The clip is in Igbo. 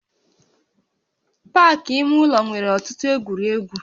Pak ime ụlọ nwere ọtụtụ egwuregwu